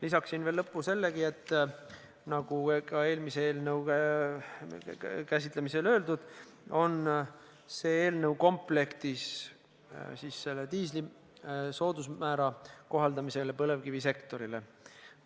Lisaksin lõppu sellegi, et nagu ka eelmise eelnõu käsitlemisel öeldud, on see eelnõu komplektis diislikütuse soodusmäära kohaldamisega põlevkivisektorile.